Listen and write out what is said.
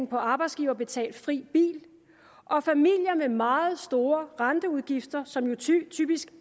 på arbejdsgiverbetalt fri bil og familier med meget store renteudgifter som jo typisk